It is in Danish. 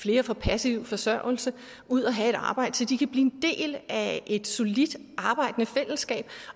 flere på passiv forsørgelse ud at have arbejde så de kan blive en del af et solidt arbejdende fællesskab